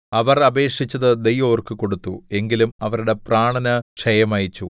അവർ അപേക്ഷിച്ചത് ദൈവം അവർക്ക് കൊടുത്തു എങ്കിലും അവരുടെ പ്രാണന് ക്ഷയം അയച്ചു